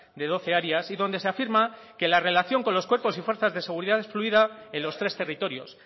de doce áreas y donde se afirma que la relación con los cuerpos y fuerzas de seguridad es fluida en los tres territorios